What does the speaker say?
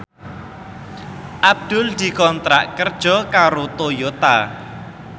Abdul dikontrak kerja karo Toyota